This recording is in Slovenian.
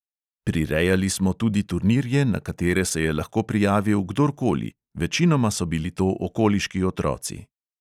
Prirejali smo tudi turnirje, na katere se je lahko prijavil kdor koli, večinoma so bili to okoliški otroci.